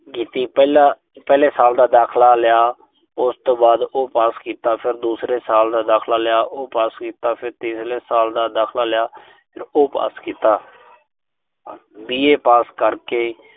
ਕੀਤੀ। ਪਹਿਲਾ, ਪਹਿਲੇ ਸਾਲ ਦਾ ਦਾਖਲਾ ਲਿਆ। ਉਸ ਤੋਂ ਬਾਅਦ ਉਹ ਪਾਸ ਕੀਤਾ। ਫਿਰ ਦੂਸਰੇ ਸਾਲ ਦਾ ਦਾਖਲਾ ਲਿਆ, ਉਹ ਪਾਸ ਕੀਤਾ। ਫਿਰ ਤੀਸਰੇ ਸਾਲ ਦਾ ਦਾਖਲਾ ਲਿਆ, ਉਹ ਪਾਸ ਕੀਤਾ। B. A. ਪਾਸ ਕਰਕੇ